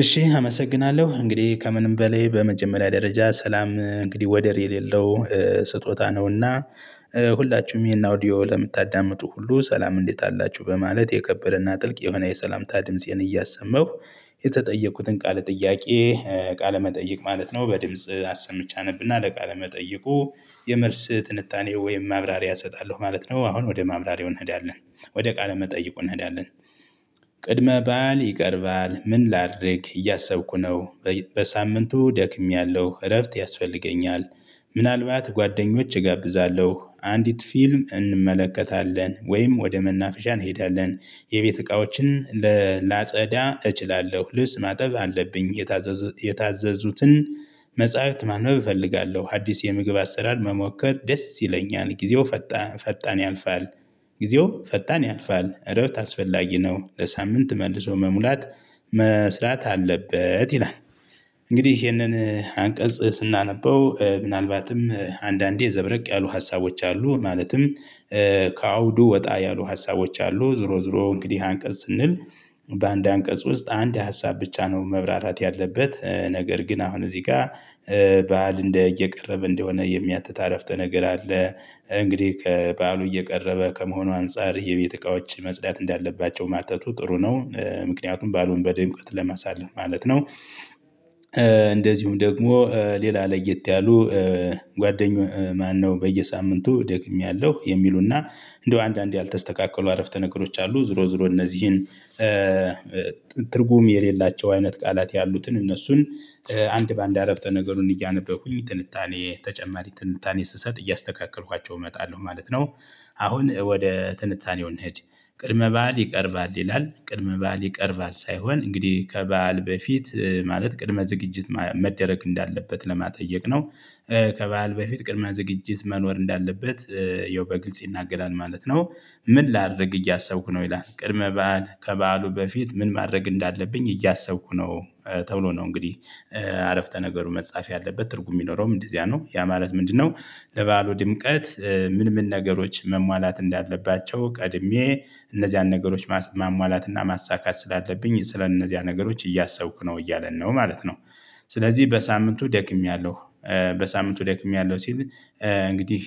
እሺ አመሰግናለሁ እንግዲህ ከምንም በላይ በመጀመሪያ ደረጃ ሰላም እንግዲህ ወደር የሌለው ስጦታ ነውና ሁላችሁም ይሄን አውዲዮ ለምታዳምጡ ሁሉ ሰላም እንዴት አላችሁ? በማለት የከበረና ጥልቅ የሆነ የሰላምታ ድምፄን እያሰመሁ የተጠየቅኩትን ቃል ጥያቄ ቃለመጠይቅ ማለት ነው። በድምጽ አሰምቼ አነብና ወደ ቃለ መጠይቁ የመልስ ትንታኔ ወይም ማብራሪያ እሰጣለሁ ማለት ነው። አሁን ወደ ማብራሪያው እንሄዳለን። ወደ ቃለ መጠይቁ እንሄዳለን። ቅድመ ባል ይቀርባል ምን ላድርግ እያሰብኩ ነው? በሳምንቱ ደክሜያለሁ እረፍት ያስፈልገኛል። ምናልባት ጓደኞች እጋብዛለሁ አንዲት ፊልም እንመለከታለን ወይም ወደ መናፍሻ እንሄዳለን። የቤት እቃዎችን ላጸዳ እችላለሁ ልብስ ማጠብ አለብኝ። የታዘዙትን መጽሐፍት ማንበብ እፈልጋለሁ ሀዲስ የምግብ አሰራር መሞከር ደስ ይለኛል። ጊዜው ፈጣን ያልፋል። ጊዜው ፈጣን ያልፋል እረብት አስፈላጊ ነው። ለሳምንት መልሶ መሙላት መስራት አለበት ይላል። እንግዲህ ይሄንን አንቀጽ ስናነበው ምናልባትም አንዳንዴ ዘብረቅ ያሉ ሀሳቦች አሉ። ማለትም ከአውዱ ወጣ ያሉ ሀሳቦች አሉ። ዞሮ ዞሮ እንግዲህ አንቀጽ ስንል በአንድ አንቀጽ ውስጥ አንድ ሀሳብ ብቻ ነው። መብራታት ያለበት ነገር ግን አሁን እዚህ ጋር በዓል እንደ እየቀረበ እንደሆነ የሚያትት አረፍተ ነገር አለ። እንግዲህ ከበዓሉ እየቀረበ ከመሆኑ አንፃር የቤት እቃዎች መጽዳት እንዳለባቸው ማተቱ ጥሩ ነው ምክንያቱም በዓሉን በድምቅት ለማሳለፍ ማለት ነው። እንደዚሁም ደግሞ ሌላ ለየት ያሉ ጓደኞች ማነው በየሳምንቱ ደግሜያለሁ የሚሉና እንደው አንዳንዴ ያልተስተካከሉ አረፍተ ነገሮች አሉ። ዙሮ ዙሮ እነዚህን ትርጉም የሌላቸው አይነት ቃላት ያሉትን እነሱን አንድ በአንድ አረፍተ ነገሩን እያነበብኩኝ ትንታኔ ተጨማሪ ትንታኔ ስሰጥ እያስተካከልኳቸው እመጣለሁ ማለት ነው። አሁን ወደ ትንታኔው እንሂድ። ቅድመ በዓል ይቀርባል ይላል ቅድመ በዓል ይቀርባል ሳይሆን እንግዲህ ከበዓል በፊት ማለት ቅድመ ዝግጅት መደረግ እንዳለበት ለማጠየቅ ነው። ከበዓል በፊት ቅድመ ዝግጅት መኖር እንዳለበት ይኸው በግልጽ ይናገራል ማለት ነው። ምን ላድርግ እያሰብኩ ነው? ይላል ቅድመ በዓል ከበዓሉ በፊት ምን ማድረግ እንዳለብኝ እያሰብኩ ነው። ተብሎ ነው እንግዲህ አረፍተ ነገሩ መጻፍ ያለበት ትርጉም የሚኖረውም እንደዚያ ነው ያ ማለት ምንድነው? ለበዓሉ ድምቀት ምን ምን ነገሮች መሟላት እንዳለባቸው ቀድሜ እነዚያን ነገሮች ማሟላትና ማሳካት ስላለብኝ ስለእነዚያ ነገሮች እያሰብኩ ነው እያለን ነው ማለት ነው። ስለዚህ በሳምንቱ ደክሜያለሁ። በሳምንቱ ደክሜያለሁ ሲል እንግዲህ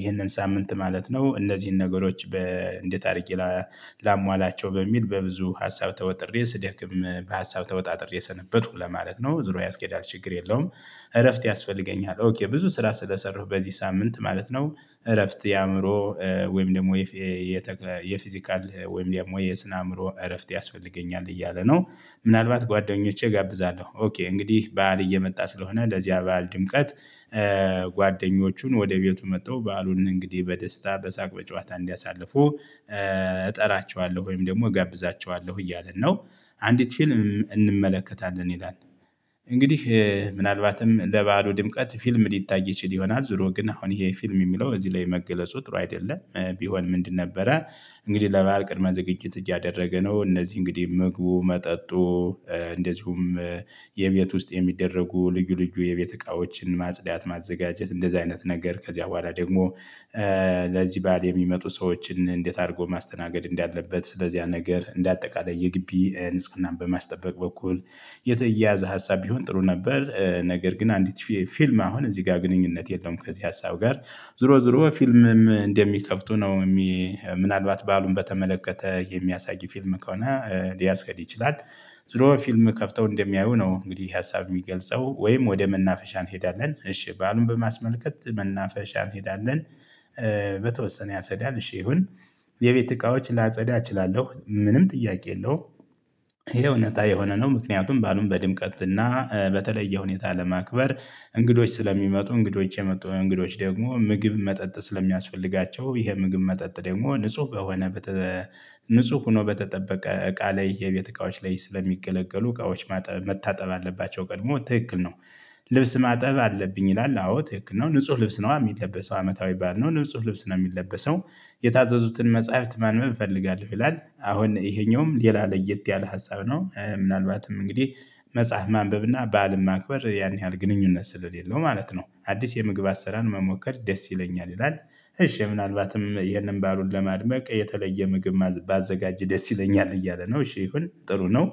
ይሄንን ሳምንት ማለት ነው እነዚህን ነገሮች በእንደ ታሪክ ላሟላቸው በሚል በብዙ ሀሳብ ተወጥሬ ስደክም በሀሳብ ተወጣጥሬ ሰነበቱ ለማለት ነው ዙሮ ያስኬዳል ችግር የለውም። እረፍት ያስፈልገኛል ብዙ ስራ ስለሰራሁ በዚህ ሳምንት ማለት ነው። እረፍት የአእምሮ ወይም ደግሞ የፊዚካል ወይም ደግሞ የስነ አእምሮ እረፍት ያስፈልገኛል እያለ ነው። ምናልባት ጓደኞቼ እጋብዛለሁ ኦኬ እንግዲህ በዓል እየመጣ ስለሆነ ለዚያ በዓል ድምቀት ጓደኞቹን ወደ ቤቱ መጥተው በዓሉን እንግዲህ በደስታ በሳቅ በጨዋታ እንዲያሳልፉ እጠራቸዋለሁ ወይም ደግሞ እጋብዛቸዋለሁ እያልን ነው። አንዲት ፊልም እንመለከታለን ይላል። እንግዲህ ምናልባትም ለበዓሉ ድምቀት ፊልም ሊታይ ይችል ይሆናል ዙሮ ግን አሁን ይሄ ፊልም የሚለው እዚህ ላይ መገለጹ ጥሩ አይደለም። ቢሆን ምንድን ነበረ? እንግዲህ ለባህር ቅድመ ዝግጅት እያደረገ ነው እነዚህ እንግዲህ ምግቡ መጠጡ እንደዚሁም የቤት ውስጥ የሚደረጉ ልዩ ልዩ የቤት እቃዎችን ማጽዳት ማዘጋጀት እንደዚህ አይነት ነገር ከዚያ በኋላ ደግሞ ለዚህ ባል የሚመጡ ሰዎችን እንዴት አድርጎ ማስተናገድ እንዳለበት ስለዚህያ ነገር እንደ አጠቃላይ የግቢ ንጽህናን በማስጠበቅ በኩል። የተያያዘ ሀሳብ ቢሆን ጥሩ ነበር። ነገር ግን አንዲት ፊልም አሁን እዚህ ጋር ግንኙነት የለውም። ከዚህ ሀሳብ ጋር ዞሮ ዞሮ ፊልምም እንደሚከፍቱ ነው የሚ ምናልባት በዓሉን በተመለከተ የሚያሳይ ፊልም ከሆነ ሊያስኬድ ይችላል። ዙሮ ፊልም ከፍተው እንደሚያዩ ነው እንግዲህ ሀሳብ የሚገልጸው ወይም ወደ መናፈሻ እንሄዳለን እሺ በዓሉን በማስመልከት መናፈሻ እንሄዳለን። በተወሰነ ያስኬዳል እሺ ይሁን። የቤት እቃዎች ላጸዳ እችላለሁ ምንም ጥያቄ የለውም። ይሄ እውነት የሆነ ነው ምክንያቱም ባሉን በድምቀት እና በተለየ ሁኔታ ለማክበር እንግዶች ስለሚመጡ እንግዶች የመጡ እንግዶች ደግሞ ምግብ መጠጥ ስለሚያስፈልጋቸው ይሄ ምግብ መጠጥ ደግሞ ንጹህ በሆነ ንጹህ ሆኖ በተጠበቀ እቃ ላይ የቤት እቃዎች ላይ ስለሚገለገሉ እቃዎች መታጠብ አለባቸው ቀድሞ ትክክል ነው። ልብስ ማጠብ አለብኝ ይላል አዎ ትክክል ነው። ንጹህ ልብስ ነው የሚለብሰው ሰው አመታዊ ባልነው ንጹህ ልብስ ነው የሚለበሰው። የታዘዙትን መጽሐፍት ማንም እፈልጋለሁ ይላል አሁን ይሄኛውም ሌላ ለየት ያለ ሀሳብ ነው። ምናልባትም እንግዲህ መጽሐፍ ማንበብ እና በዓልን ማክበር ያን ያህል ግንኙነት ስለሌለው ማለት ነው። አዲስ የምግብ አሰራር መሞከር ደስ ይለኛል ይላል። እሺ ምናልባትም ይህንን ባሉን ለማድመቅ የተለየ ምግብ ባዘጋጅ ደስ ይለኛል እያለ ነው። እሺ ይሁን ጥሩ ነው።